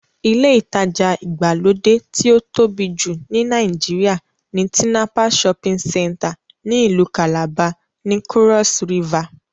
Ilé ìtajà ìgbàlódé tí ó tóbi jù ní Nàìjíríà ni Tinapa shopping center ní ìlú kàlàba, ní kúrọ́s rivà